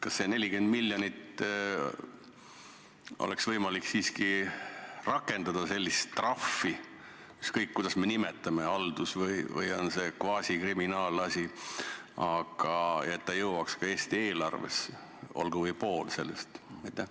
Kas seda 40-miljonilist trahvi oleks võimalik siiski rakendada haldusasjas või kvaasikriminaalasjas, aga et see jõuaks ka Eesti eelarvesse, olgu või pool sellest?